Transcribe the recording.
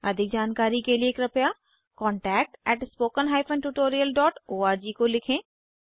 अधिक जानकारी के लिए कृपया contactspoken tutorialorg को लिखें